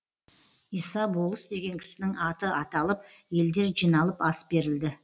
иса болыс деген кісінің аты аталып елдер жиналып ас берілді